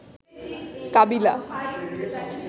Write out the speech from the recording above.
কাবিলা